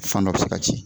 Fan dɔ bɛ se ka ci